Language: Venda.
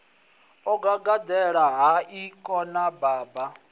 o gagaḓela hai khona baba